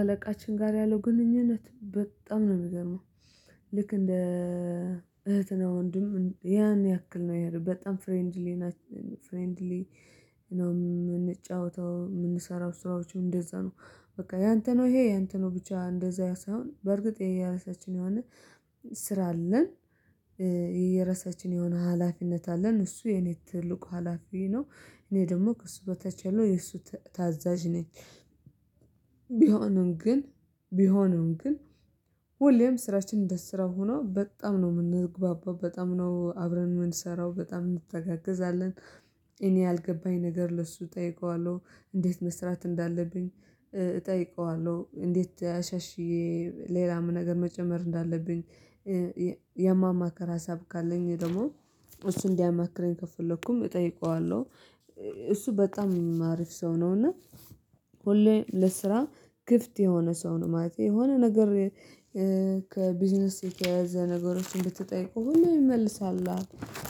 አለቃችን ጋር ያለው ግንኙነት በጣም ነው የሚገርመው ልክ እንደ እህትና ወንድም ያን ያክል ነው ያለው በጣም ፍሬንድሊ ፍሬንድሊ እና የምንጫወተው የምንሰራው ስራዎች እንደዛ ነው። በቃ ያንተ ነው ይሄ ያንተ ነው ብቻ እንደዛ ሳይሆን በርግጥ የየራሳችን የሆነ ስራ አለን። የረሳችን የሆነ ሀላፊነት አለን እሱ የኔ ትልቁ ሀላፊ ነው እኔ ደግሞ ከእሱ በታች ያለው የእሱ ታዛዥ ነኝ። ቢሆንም ግን ቢሆንም ግን ሁሌም ስራችንን እንደስራ ሆኖ በጣም ነው የምንግባባው በጣም ነው አብረን የምንሰራው በጣም እንተጋገዛለን። እኔ ያልገባኝ ነገር ለሱ ጠይቀዋለው እንዴት መስራት እንዳለብኝ እጠይቀዋለሁ። እንዴት አሻሽዬ ሌላም ነገር መጨመር እንዳለብኝ ያማማከር ሀሳብ ካለኝ ደግሞ እሱ እንዲያማክረኝ ከፈለኩም እጠይቀዋለሁ። እሱ በጣም አሪፍ ሰው ነው እና ሁሌ ለስራ ክፍት የሆነ ሰው ነው ማለት የሆነ ነገር። ከቢዝነስ የተያዘ ነገሮችን ብትጠይቀው ሁሉ ይመልሳል።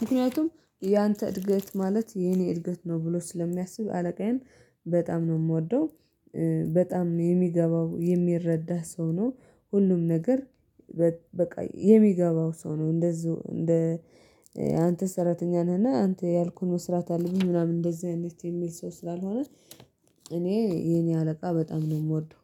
ምክንያቱም ያንተ እድገት ማለት የኔ እድገት ነው ብሎ ስለሚያስብ አለቃዬን በጣም ነው የምወደው። በጣም የሚገባው የሚረዳህ ሰው ነው። ሁሉም ነገር በቃ የሚገባው ሰው ነው። እንደዚሁ እንደ አንተ ሰራተኛ ነህና አንተ ያልኩህ መስራት አለብኝ ምናምን እንደዚህ አይነት የሚል ሰው ስላልሆነ። እኔ የኔ አለቃ በጣም ነው የምወደው።